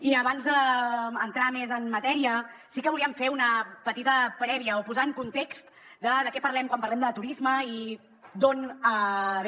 i abans d’entrar més en matèria sí que volíem fer una petita prèvia o posar en context de què parlem quan parlem de turisme i d’on ve